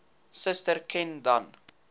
suster ken dan